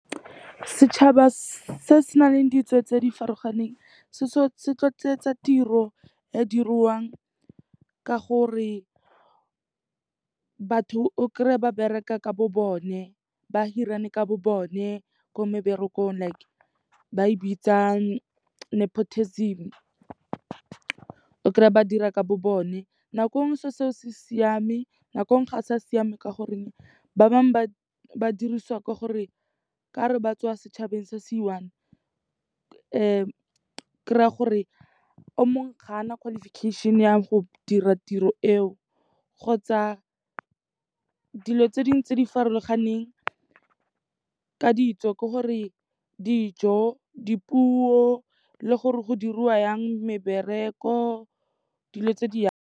Setšhaba se se nang le ditso tse di farologaneng tsa tiro e dirwang ka gore batho o kry-e ba bereka ka bo bone, ba hirane ka bo bone ko meberekong like ba e bitsa nepotism. O kry-a ba dira ka bo bone nako e nngwe se'o seo se siame, nako e nngwe ga se a siama ka goreng ba bangwe ba ba dirisiwa ke gore ka re ba tswa setšhabeng se se one, kry-a gore o mongwe ga a na qualification-e ya go dira tiro eo kgotsa dilo tse dingwe tse di farologaneng ka ditso, ke gore dijo, dipuo le gore go diriwa yang mebereko dilo tse di yalo.